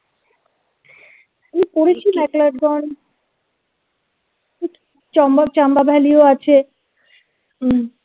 করেছি MCLeod ganj Chamba chamba valley ও আছে